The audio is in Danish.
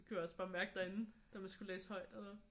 Det kunne jeg også bare mærke derinde da man skulle læse højt eller